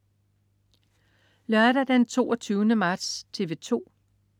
Lørdag den 22. marts - TV 2: